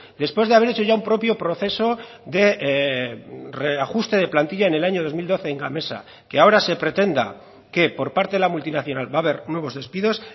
después de haber hecho ya un propio proceso de reajuste de plantilla en el año dos mil doce en gamesa que ahora se pretenda que por parte de la multinacional va a haber nuevos despidos